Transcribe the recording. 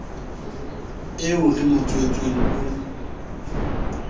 eo re mo tswetseng o